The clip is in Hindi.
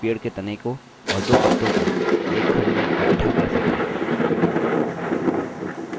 सीखते हैं कि पेड़ के तने को और दो पत्तों को एक खंड में इकठ्ठा कैसे करें